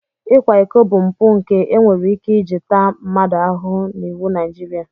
Ịkwa iko bụ mpụ nke e nwere ike iji taa mmadụ ahụhụ n'iwu Naijiria.